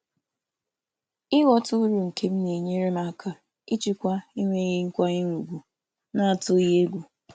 Ịghọta uru m na-enyere m aka ijikwa akparị na-enweghị ịhapụ ntụkwasị obi.